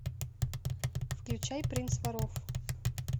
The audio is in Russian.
включай принц воров